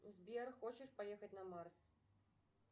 сбер хочешь поехать на марс